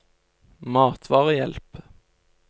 matvarehjelp